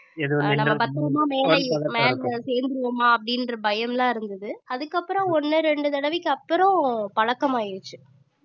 ஆஹ் நாம பத்தரமா மேல மேல சேர்ந்துருவோமா அப்படின்ற பயம்லாம் இருந்தது அதுக்கப்புறம் ஒண்ணு ரெண்டு தடவைக்கு அப்புறம் பழக்கம் ஆயிடுச்சு